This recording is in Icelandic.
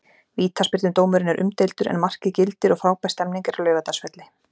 Vítaspyrnudómurinn er umdeildur en markið gildir og frábær stemning er á Laugardalsvelli.